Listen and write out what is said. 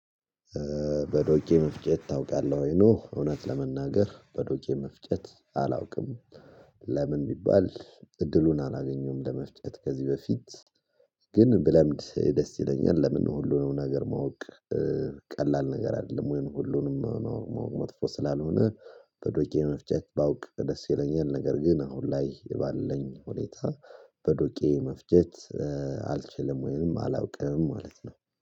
በዶቄ መፍጨት ታውቃለህ ወይ ነው እውነት ለመናገር በዶቄ መፍጨት አላውቅም። ለምን ቢባል እድሉን አላገኘሁም ለመፍጨት ከዚህ በፊት ግን ብለምድ ደስ ይለኛል ለምን ነው ሁሉንም ነገር ማወቅ ቀላል ነገር አይደለም ወይንም ሁሉንም ማወቅ መጥፎ ስላልሆነ በዶቄ መፍጨት ባውቅ ደስ ይለኛል ነገር ግን አሁን ላይ የባለኝ ሁኔታ በዶቄ መፍጨት አልችልም ወይንም አላውቅም ማለት ነው